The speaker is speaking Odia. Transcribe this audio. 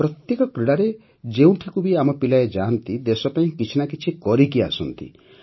ପ୍ରତ୍ୟେକ କ୍ରୀଡ଼ାରେ ଯେଉଁଠିକୁ ବି ଆମ ପିଲାଏ ଯାଆନ୍ତି ଦେଶପାଇଁ କିଛି ନା କିଛି କରିକି ଆସନ୍ତି